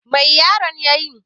Mai yaron ya yi?